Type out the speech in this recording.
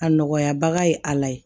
A nɔgɔya baga ye ala ye